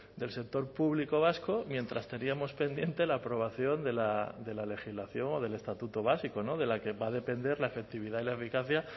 del sector público vasco mientras teníamos pendiente la aprobación de la legislación del estatuto básico de la que va a depender la efectividad y la eficacia